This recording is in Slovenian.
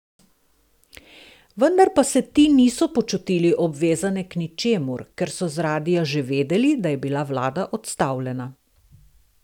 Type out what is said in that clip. Vendar pa se ti niso počutili obvezane k ničemur, ker so z radia že vedeli, da je bila vlada odstavljena.